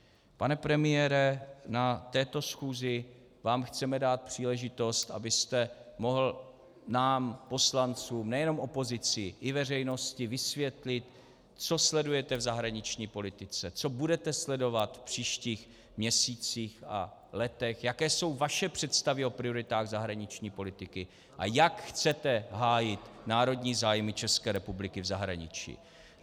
Pane premiére, na této schůzi vám chceme dát příležitost, abyste mohl nám poslancům, nejenom opozici, i veřejnosti vysvětlit, co sledujete v zahraniční politice, co budete sledovat v příštích měsících a letech, jaké jsou vaše představy o prioritách zahraniční politiky a jak chcete hájit národní zájmy České republiky v zahraničí.